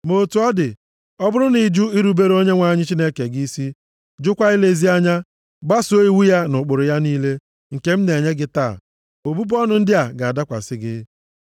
Ma otu ọ dị, ọ bụrụ na ị jụ irubere Onyenwe anyị Chineke gị isi, jụkwa ilezi anya, gbasoo iwu ya na ụkpụrụ ya niile, nke m na-enye gị taa, ọbụbụ ọnụ ndị a ga-adakwasị gị.